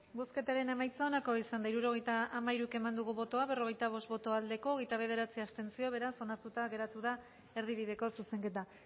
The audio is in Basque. bozketaren emaitza onako izan da hirurogeita hamairu eman dugu bozka berrogeita bost boto aldekoa hogeita bederatzi abstentzio beraz onartuta geratu da erdibideko zuzenketa